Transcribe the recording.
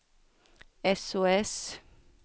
sos